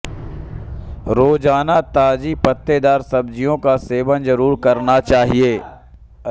रोजाना ताजी पत्तेदार सब्जियों का सेवन जरूर करना चाहिए